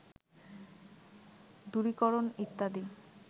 দূরীকরণ ইত্যাদি